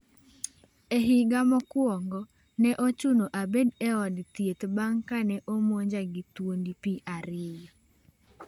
E higa mokwongo, ne ochuno abed e od thieth bang’ kane omonja gi thuondi pi ariyo.